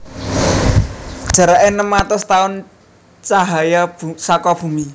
Jaraké enem atus taun cahaya saka Bumi